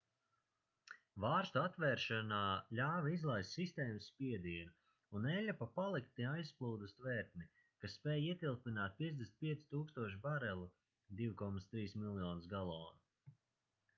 vārstu atvēršana ļāva izlaist sistēmas spiedienu un eļļa pa paliktni aizplūda uz tvertni kas spēj ietilpināt 55 000 barelu 2,3 miljonus galonu